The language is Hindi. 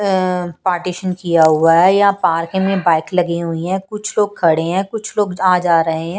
अ पार्टीशन किया हुआ है या पार्किंग में बाइक लगी हुई है कुछ लोग खड़े हैं कुछ लोग आ जा रहे हैं।